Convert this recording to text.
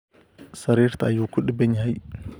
Sariirta ayuu ku dhibban yahay